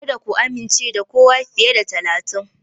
Kada ku amince da kowa fiye da talatin.